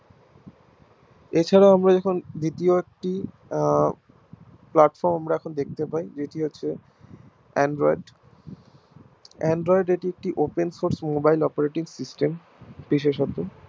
এছাড়াও আমরা যখন video টি Platform আমরা এখন দেখতে পাই যে এটি হচ্ছে AndroidAndroid এটি হচ্ছে একটি Open source mobile operating system বিশেষত